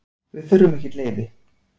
Við þurfum ekkert leyfi.